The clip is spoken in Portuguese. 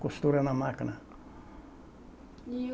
Costura na máquina. E o